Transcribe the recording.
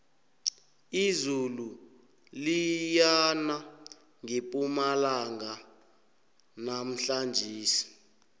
izulu liyana ngepumalanga namhlanjesi